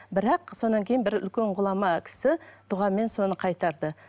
бірақ содан кейін бір үлкен ғұлама кісі дұғамен соны қайтарды